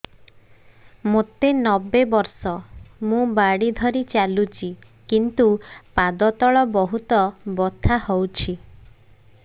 ମୋତେ ନବେ ବର୍ଷ ମୁ ବାଡ଼ି ଧରି ଚାଲୁଚି କିନ୍ତୁ ପାଦ ତଳ ବହୁତ ବଥା ହଉଛି